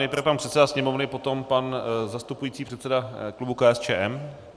Nejprve pan předseda Sněmovny, potom pan zastupující předseda klubu KSČM.